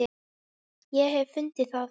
Ég hef fundið það!